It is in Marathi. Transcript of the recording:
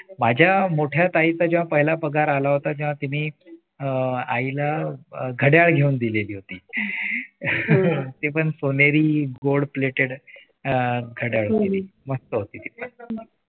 माझ्या मोठ्या ताईचा जेव्हा पहिल्या पगार आला होता तेव्हा तिनी आईला घड्याळ घेऊन दिलेले होते. ते पण सोनेरी gold plated अह घड्याळ होते ते मस्त होते ते